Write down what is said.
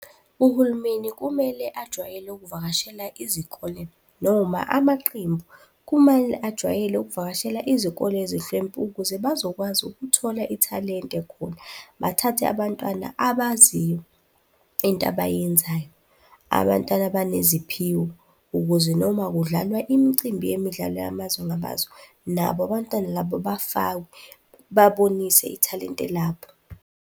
Uhulumeni kumele ajwayele ukuvakashela izikole noma amaqembu. Kumele ajwayele ukuvakashela izikole ezihlwempu ukuze bazokwazi ukuthola ithalente khona. Bathathe abantwana abaziyo into abayenzayo. Abantwana abaneziphiwo ukuze noma kudlalwa imicimbi yemidlalo yamazwe ngamazwe nabo abantwana labo bafakwe, babonise ithalente labo.